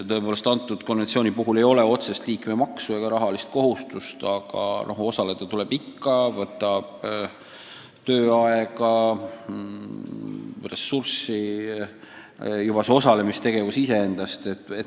Selle konventsiooni puhul ei ole otsest liikmemaksu ega muud rahalist kohustust, aga osalemine tähendab siiski täiendavat tööaega.